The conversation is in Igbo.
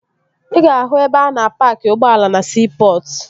Ị ga-ahụ ebe a na-paaki ụgbọ ala na siipọtụ